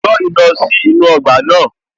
Joy lọ sí inú ọgbà náà